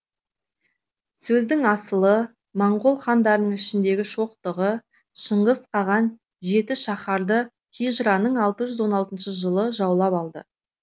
сөздің асылы моңғол хандарының ішіндегі шоқтығы шыңғыс қаған жетішаһарды хижраның алты жүз он алтыншы жылы жаулап алды